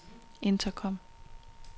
intercom